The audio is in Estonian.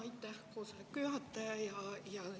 Aitäh, koosoleku juhataja!